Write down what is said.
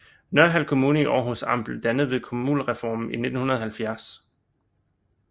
Nørhald Kommune i Århus Amt blev dannet ved kommunalreformen i 1970